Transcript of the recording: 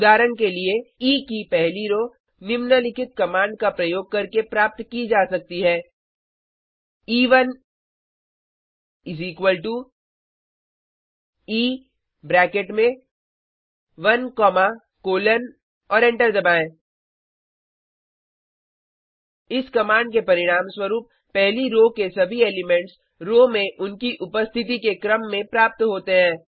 उदाहरण के लिए ई की पहली रो निम्नलिखित कमांड का प्रयोग करके प्राप्त की जा सकती है ई1 ई ब्रैकेट में 1 कॉमा कोलन और एंटर दबाएँ इस कमांड के परिणामस्वरूप पहली रो के सभी एलिमेंट्स रो में उनकी उपस्थिति के क्रम में प्राप्त होते हैं